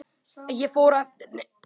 Ég fór á eftir henni.